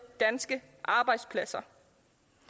danske arbejdspladser